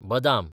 बदाम